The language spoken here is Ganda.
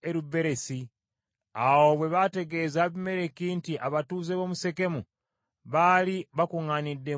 Awo bwe baategeeza Abimereki nti abatuuze b’omu Sekemu baali bakuŋŋaanidde mu kigo kya Sekemu,